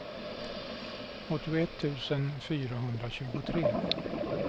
åttioett tusen fyrahundratjugotre